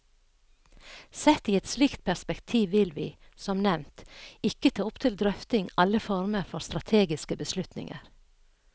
Sett i et slikt perspektiv vil vi, som nevnt, ikke ta opp til drøfting alle former for strategiske beslutninger.